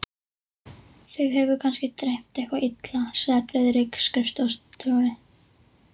Þig hefur kannski dreymt eitthvað illa, sagði Friðrik skrifstofustjóri.